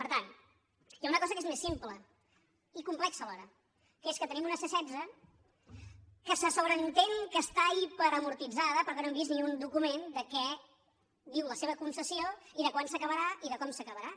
per tant hi ha una cosa que és més simple i complexa alhora que és que tenim una c·setze que se sobreentén que està hiperamortitzada però que no hem vist ni un document de què diu la seva concessió i de quan s’aca·barà i de com s’acabarà